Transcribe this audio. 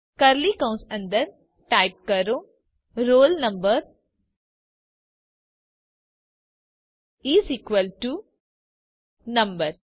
curly કૌંસ અંદર type કરો roll number is equal to number